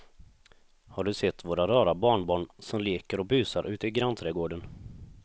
Har du sett våra rara barnbarn som leker och busar ute i grannträdgården!